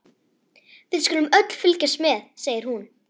Við skulum öll fylgjast með, segir hún.